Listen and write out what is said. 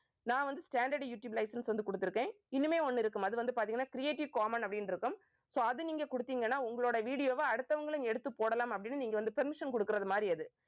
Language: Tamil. நான் வந்து standard யூடியூப் license வந்து குடுத்திருக்கேன். இனிமே ஒண்ணு இருக்கும் அது வந்து பாத்தீங்கன்னா creative common அப்படின்னு இருக்கும் so அது நீங்க குடுத்தீங்கன்னா உங்களோட video வை அடுத்தவங்களும் எடுத்து போடலாம் அப்படின்னு நீங்க வந்து permission குடுக்கறது மாறி அது